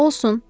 Olsun.